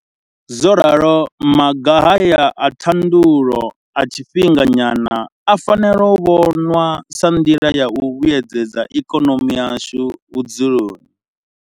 Zworalo maga haya a ṱhaḓulo a tshifhinga nyana a fanela u vhonwa sa nḓila ya u vhuedzedza ikonomi yashu vhudzuloni.